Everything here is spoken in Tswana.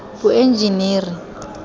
boenjeniri